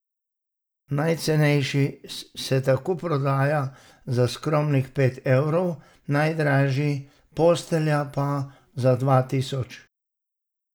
Najcenejši se tako prodaja za skromnih pet evrov, najdražji, postelja, pa za dva tisoč.